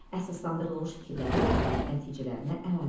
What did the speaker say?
Əsaslandırılmış fikirləri nəticələrinə əlavə elə.